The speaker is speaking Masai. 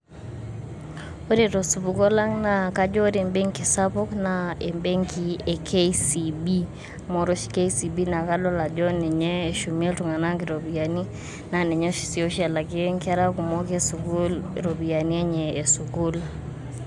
Ore tosupuko langa kajo ore ebenki sapuk naa kajo ebenki e Kenyaa central Bank, amu ore oshi Kenya central Bank naa ninye oshi eshumie iltung'anak iropiyiani naa ninye sii oshi elakie inkera kumok esukuul iropiyiani enye esukuul.